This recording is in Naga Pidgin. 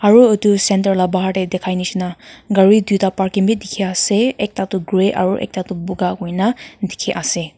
aru etu center laga bahar te dekhai nisna gari duita parking bhi dekhi ase ekta tu gray aru ekta tu boga kori na dekhi ase.